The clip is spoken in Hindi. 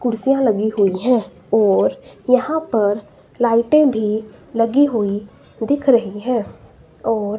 कुर्सियां लगी हुई है और यहां पर लाइटें भी लगी हुई दिख रही हैं और--